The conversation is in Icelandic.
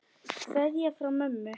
Kveðja frá mömmu.